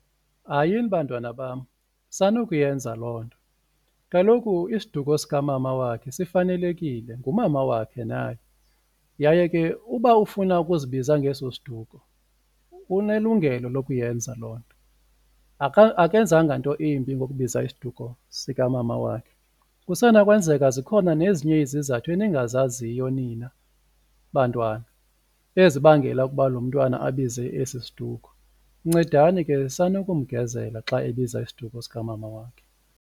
Hayini, bantwana bam, sanukuyenza loo nto kaloku isiduko sikamama wakhe sifanelekile ngumama wakhe naye yaye ke uba ufuna ukuzibiza ngeso siduko unelungelo lokuyenza loo nto, akenzanga nto imbi ngokubiza isiduko sikamama wakhe. Kusenokwenzeka zikhona nezinye izizathu eningazaziyo nina bantwana ezibangela ukuba lo mntwana abize esi siduko, ncedani ke sanukumgezela xa ebiza isiduko sikamama wakhe.